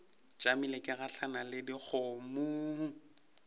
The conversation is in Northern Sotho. tšamile ke gahlana le dikgomommuu